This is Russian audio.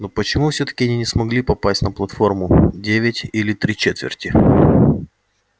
но почему всё-таки они не смогли попасть на платформу девять или три четверти